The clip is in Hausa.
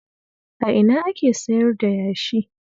A ina ake sayar da yashi?